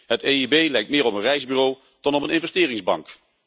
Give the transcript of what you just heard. De EIB lijkt meer op een reisbureau dan op een investeringsbank.